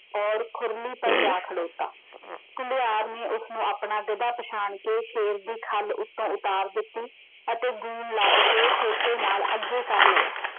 ਔਰ ਖੁਰਲੀ ਪਰ ਜਾ ਖਲੋਤਾ । ਘੁਮਿਆਰ ਨੇ ਉਸ ਨੂੰ ਆਪਣਾ ਗਧਾ ਪਛਾਣ ਕੇ ਸ਼ੇਰ ਦੀ ਖੱਲ ਉੱਤੋਂ ਉਤਾਰ ਦਿੱਤੀ ਅਤੇ ਲੱਦ ਕੇ ਸੋਟੇ ਨਾਲ ਅੱਗੇ ਕਰ ਲਿਆ।